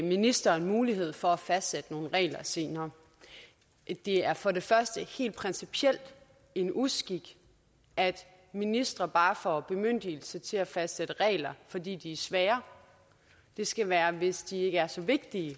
ministeren mulighed for at fastsætte nogle regler senere det er for det første helt principielt en uskik at ministre bare får bemyndigelse til at fastsætte regler fordi de er svære det skal være hvis ikke de er så vigtige